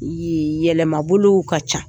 Yɛlɛma bolow ka ca.